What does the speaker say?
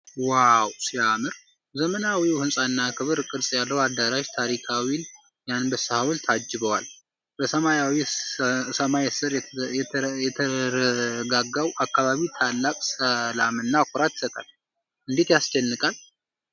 ዋው ሲያምር! ዘመናዊው ሕንፃና ክብ ቅርጽ ያለው አዳራሽ ታሪካዊውን የአንበሳ ሐውልት አጅበዋል። በሰማያዊ ሰማይ ሥር የተረጋጋው አካባቢ ታላቅ ሰላምና ኩራት ይሰጣል። እንዴት ያስደንቃል!